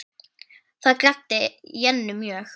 Það gladdi Jennu mjög.